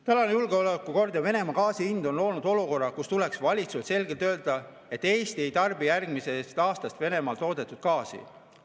Tänane julgeolekuolukord ja Venemaa gaasi hind on loonud olukorra, kus valitsusel tuleks selgelt öelda, et Eesti ei tarbi järgmisest aastast Venemaal toodetud gaasi.